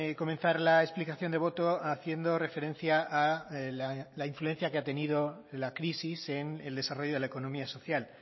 comenzar la explicación de voto haciendo referencia a la influencia que ha tenido la crisis en el desarrollo de la economía social